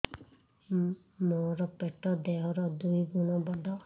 ମୋର ପେଟ ଦେହ ର ଦୁଇ ଗୁଣ ବଡ